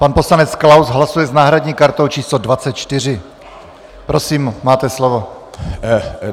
Pan poslanec Klaus hlasuje s náhradní kartou číslo 24. Prosím, máte slovo.